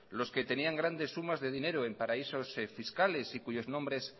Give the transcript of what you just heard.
los que tenían grandes sumas de dinero en paraísos fiscales y cuyos nombres